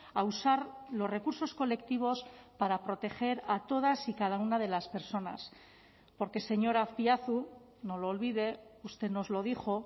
a usar los recursos colectivos para proteger a todas y cada una de las personas porque señor azpiazu no lo olvide usted nos lo dijo